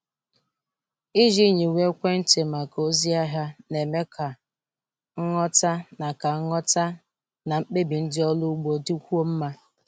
Ịji nyiwe ekwentị maka ozi ahịa na-eme ka nghọta na ka nghọta na mkpebi ndị ọrụ ugbo dịkwuo mma.